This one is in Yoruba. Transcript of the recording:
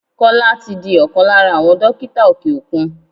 Kọ́lá tí di ọkàn lára àwọn dókítà òkè òkun.